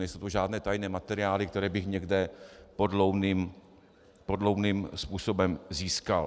Nejsou to žádné tajné materiály, které bych někde podloudným způsobem získal.